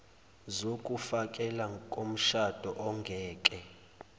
zokufekela komshado ongeke